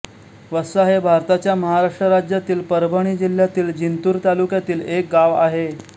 वस्सा हे भारताच्या महाराष्ट्र राज्यातील परभणी जिल्ह्यातील जिंतूर तालुक्यातील एक गाव आहे